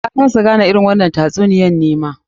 Na kasa gane irin wannan tatsuniyar nima.